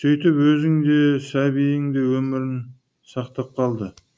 сөйтіп өзін де сәбиін де өмірін сақтап қалады